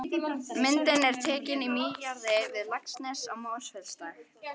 Myndin er tekin í mýrarjaðri við Laxnes í Mosfellsdal.